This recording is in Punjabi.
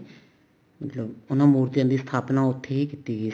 ਮਤਲਬ ਉਹਨਾ ਮੂਰਤੀਆਂ ਦੀ ਸਥਾਪਨਾ ਉੱਥੇ ਹੀ ਕੀਤੀ ਗਈ ਸੀ